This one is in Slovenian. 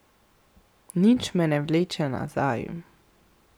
Nič me ne vleče nazaj.